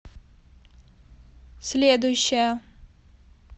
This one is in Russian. следующая